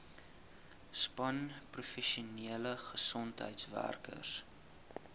span professionele gesondheidswerkers